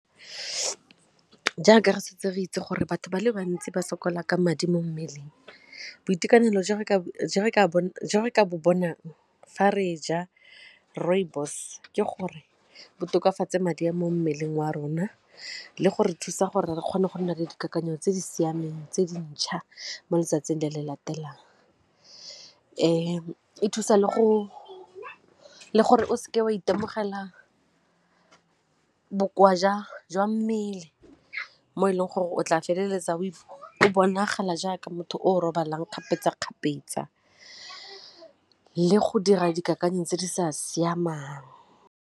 Jaaka re santse re itse gore batho ba le bantsi ba sokola ka madi mo mmeleng boitekanelo bonang fa re ja rooibos ke gore bo tokafatse madi a mo mmeleng wa rona le go re thusa gore re kgone go nna le dikakanyo tse di siameng tse dintšha mo letsatsing le le latelang. E thusa le go le gore o seke wa itemogela ka bokoa jwa mmele mo e leng gore o tla feleletsa o bonagala jaaka motho o robalang kgapetsa-kgapetsa le go dira dikakanyo tse di sa siamang.